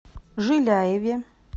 жиляеве